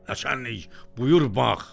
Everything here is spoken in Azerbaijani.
"Naçalnik, buyur bax.